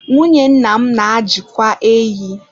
Nwunye nna m na-ajịkwa ehi